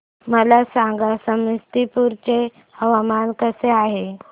मला सांगा समस्तीपुर चे हवामान कसे आहे